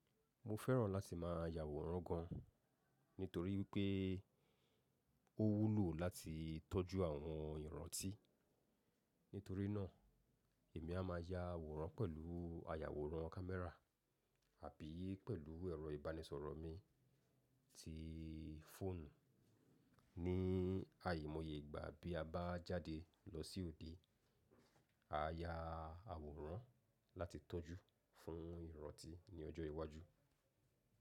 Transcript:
Mo fẹ́ràn láti má a ya àwòrán gan, nítorí pé ó wúlò láti tọ́jú àwọn ìrántí. Nítorí náà, èmi a má a ya àwòrán pẹ̀lú àyàwòrán kámẹ́rà àbí pẹ̀lú ẹ̀rọ ìbánisọ̀rọ̀ mi tí fọ́ọ̀nù. Ní àìmọye ìgbà bí a bá jáde lọ sí òde, a ya àwòrán láti tọ́jú fún ìrántí ní ọjọ́ iwájú.